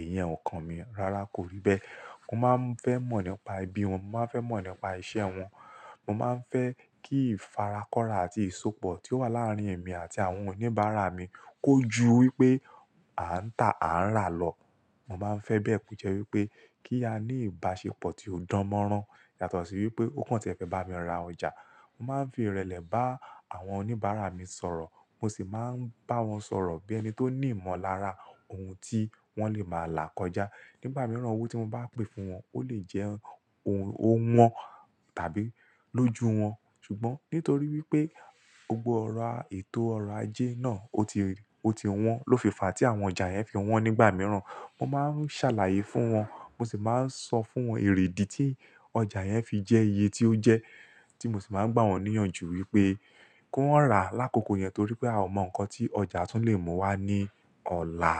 Iyẹn ò kan mi rárá kò rí bẹ́. Mo máa ń fẹ́ mọ̀ nípa ẹbí wọn, mo máa ń fẹ́ mọ̀ nípa ìṣe wọn. Mo máa ń fẹ́ kí ìfarakọ́ra àti ìsopọ̀ tí ó wà láàrin èmi àti àwọn oníbàárà mi kó ju wípé à ń tà, à ń rà lọ. Mo máa ń fẹ́ bè ko jẹ́ wípé kí a ní ìbáṣepọ̀ tí ó dánmọ́rán. Yàtọ̀ sí wípé ó kàn tí ẹ fẹ́ bá mi ra ọjà. Mo máa ń fi ìrẹ̀lẹ̀ bá àwọn oníbàárà mi sọ̀rọ̀. Mo sì máa ń bá wọn sọ̀rọ̀ bí ẹni tó ní ìmọ̀lára ohun tí wọ́n lè máa là kọjá. Nígbà mìíràn owó tí mo bá pè fún wọn, ó lè jẹ́ ohun ó wọ́n tàbí lójú wọn. Ṣùgbọ́n nítorí wípé gbogbo ọ̀rọ̀ à-- ètò ọ̀rọ̀ ajé náà ó ti, ó ti wọ́n. Lófìfa tí àwọn ọjà yẹn fi wọn nígbà mìíràn, mo máa ń ṣàlàyé fún wọn. Mo sì máa ń sọ fún wọn erèdí tí ọjà yẹn fi jẹ́ iye tí ó jẹ́. Tí mo sì máa ń gbà wọ́n níyànjú wípé kan rà á lákòókò yẹn torí pé a ò mọ̀ nǹkan tí ọjà tún lè mú wá ní ọ̀la.